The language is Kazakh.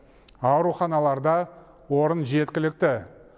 ауруханаларда орын жеткілікті